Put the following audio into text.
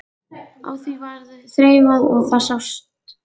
Á því varð þreifað og það sást.